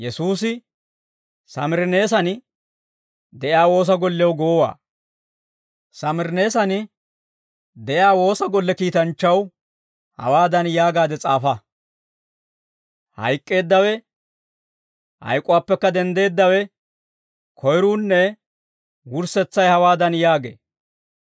Samirineesan de'iyaa woosa golle kiitanchchaw hawaadan yaagaade s'aafa: «Hayk'k'eeddawe, hayk'uwaappekka denddeeddawe, koyruunne wurssetsay hawaadan yaagee.